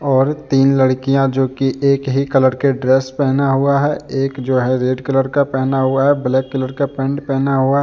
और तीन लड़कियां जो की एक ही कलर के ड्रेस पहना हुआ है एक जो है रेड कलर का पहना हुआ है ब्लैक कलर का पेंट पहना हुआ --